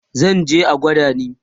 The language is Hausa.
zanje a gwada ni